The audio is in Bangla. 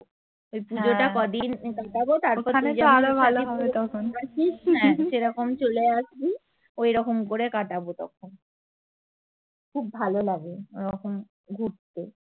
এই পুজোটা কদিন হ্যা সেরকম চলে আসবি ঐরকম করে কাটাবো তখন খুব ভালো লাগে ওরকম ঘুরতে